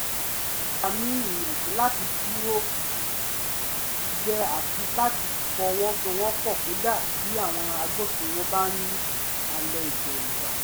gba ni íyànjú láti dúró jẹ́ àti láti fọwọ́sowọ́pọ̀ kódà bí àwọn agbófinró bá ń halẹ̀ ìdẹ́rùbà